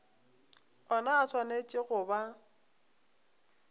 ona a swanetše go ba